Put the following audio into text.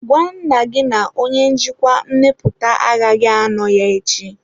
Gwa nna gị na onye njikwa mmepụta agaghị anọ ya echi.